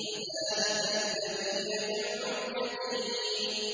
فَذَٰلِكَ الَّذِي يَدُعُّ الْيَتِيمَ